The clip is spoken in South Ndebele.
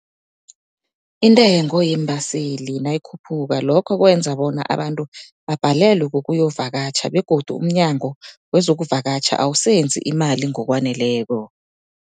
Intengo yeembaseli nayikhuphuka, lokho kwenza bona abantu babhalelwe kukuyovakatjha begodu umNyango wezoKuvakatjha awusenzi imali ngokwaneleko.